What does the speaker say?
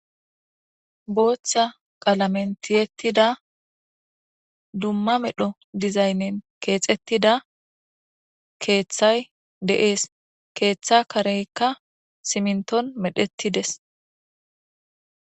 boothha qalamentiyettida dumma medho dizaynnen keexettida keeththay deees keeththa kareykka siminton medhettides